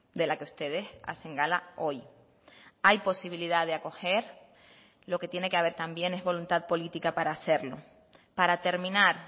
de la que ustedes hacen gala hoy hay posibilidad de acoger lo que tiene que haber también es voluntad política para hacerlo para terminar